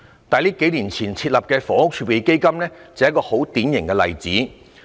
數年前設立的房屋儲備金就是一個典型例子。